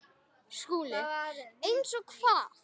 SKÚLI: Eins og hvað?